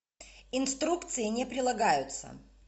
инструкции не прилагаются